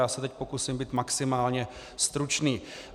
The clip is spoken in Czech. Já se teď pokusím být maximálně stručný.